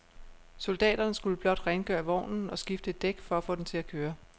Soldaterne skulle blot rengøre vognen og skifte et dæk for at få den til at køre.